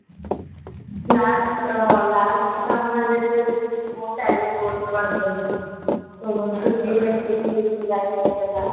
last ଅ last summer ରେ ତ ଯେମତି ମୁଁ tally course କରିଦେଲି ତ ମୋର ଛୁଟି ଟା ହିଁ ସେଇଥିରେ july ହେଇଗଲା